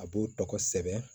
A b'o tɔgɔ sɛbɛn